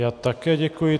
Já také děkuji.